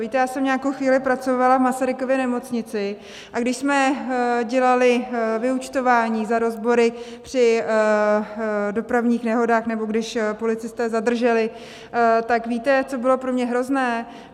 Víte, já jsem nějakou chvíli pracovala v Masarykově nemocnici, a když jsme dělali vyúčtování za rozbory při dopravních nehodách nebo když policisté zadrželi, tak víte, co bylo pro mě hrozné?